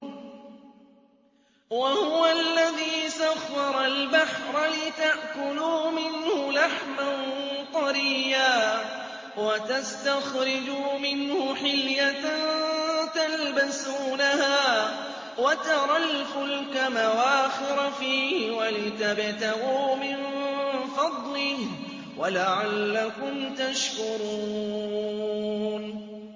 وَهُوَ الَّذِي سَخَّرَ الْبَحْرَ لِتَأْكُلُوا مِنْهُ لَحْمًا طَرِيًّا وَتَسْتَخْرِجُوا مِنْهُ حِلْيَةً تَلْبَسُونَهَا وَتَرَى الْفُلْكَ مَوَاخِرَ فِيهِ وَلِتَبْتَغُوا مِن فَضْلِهِ وَلَعَلَّكُمْ تَشْكُرُونَ